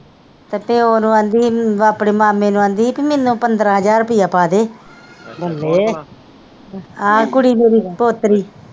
ਤੇ ਪਿਓ ਨੂੰ ਆਂਦੀ ਹੀ ਆਪਣੇ ਮਾਮੇ ਨੂੰ ਆਂਦੀ ਹੀ ਪੀ ਮੈਨੂੰ ਪੰਦਰਾਂ ਹਜ਼ਾਰ ਰੁਪਈਆ ਪਾ ਦੇ ਆਹੋ ਕੁੜੀ ਮੇਰੀ ਪੋਤਰੀ।